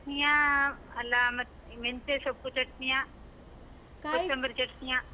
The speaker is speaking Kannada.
ಚಟ್ನಿಯಾ, ಅಲ್ಲಾ ಮತ್ ಮೆಂತೆಸೊಪ್ಪು ಚಟ್ನಿಯ? ಚಟ್ನಿಯಾ?